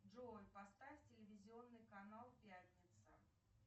джой поставь телевизионный канал пятница